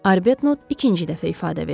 Arbetnot ikinci dəfə ifadə verir.